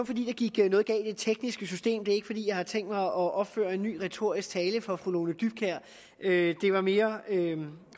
fordi der gik noget galt i det tekniske system det er ikke fordi jeg har tænkt mig at opføre en ny retorisk tale for fru lone dybkjær men det var mere